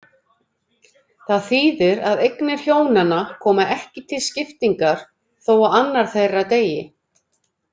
Það þýðir að eignir hjónanna koma ekki til skiptingar þó að annað þeirra deyi.